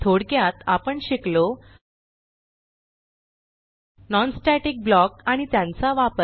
थोडक्यात आपण शिकलो non स्टॅटिक ब्लॉक आणि त्यांचा वापर